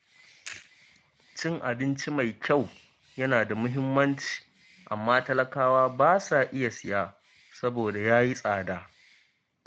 Cin abinci mai kyau yana da muhimmanci, amma talakawa ba sa iya siya saboda ya yi tsada.